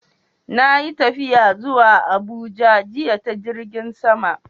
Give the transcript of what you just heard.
Na yi tafiya zuwa Abuja jiya ta jirgin sama.